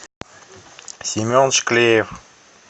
семен шклеев